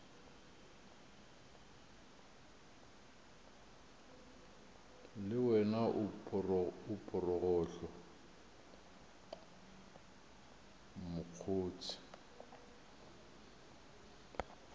le wena o phorogohlo mokgotse